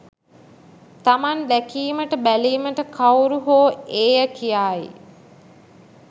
තමන් දැකීමට බැලීමට කවුරු හෝ ඒය කියායි.